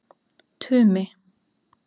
Tumi